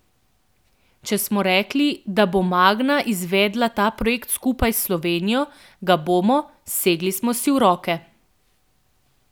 Če smo rekli, da bo Magna izvedla ta projekt skupaj s Slovenijo, ga bomo, segli smo si v roke.